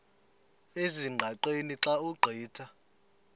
ezingqaqeni xa ugqitha